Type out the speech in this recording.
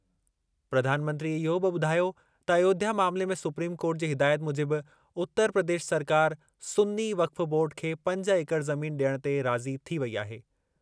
प्रधानमंत्रीअ इहो बि ॿुधायो त अयोध्या मामले में सुप्रीम कोर्ट जी हिदायत मूजिबि उतर प्रदेश सरकार सुन्नी वक्फ़ बोर्ड खे पंज एकड़ ज़मीन डि॒यणु ते राज़ी थी वेई आहे।